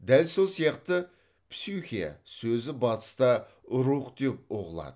дәл сол сияқты псюхе сөзі батыста рух деп ұғылады